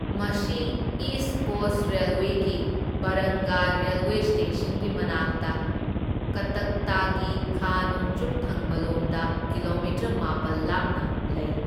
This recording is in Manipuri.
ꯃꯁꯤ ꯏꯁ ꯀꯣꯁ ꯔꯦꯜꯋꯦꯒꯤ ꯕꯔꯪꯒꯥ ꯔꯦꯜꯋꯦ ꯁ꯭ꯇꯦꯁꯟꯒꯤ ꯃꯅꯥꯛꯇ ꯀꯠꯇꯛꯇꯒꯤ ꯈꯥ ꯅꯣꯡꯆꯨꯞ ꯊꯪꯕꯂꯣꯝꯗ ꯀꯤꯂꯣꯃꯤꯇꯔ ꯃꯥꯄꯜ ꯂꯥꯞꯅ ꯂꯩ꯫